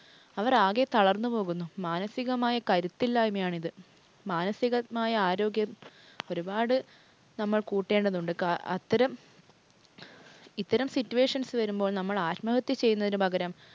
അവർ ആകെ തളർന്ന് പോകുന്നു. മാനസികമായ കരുത്തില്ലായ്മയാണിത്. മാനസികമായ ആരോഗ്യം ഒരുപാട് നമ്മൾ കൂട്ടേണ്ടതുണ്ട്. അത്തരം ഇത്തരം situations വരുമ്പോൾ നമ്മൾ ആത്മഹത്യ ചെയ്യുന്നതിന് പകരം